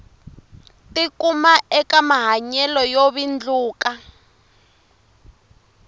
tikuma eka mahanyelo yo vindluka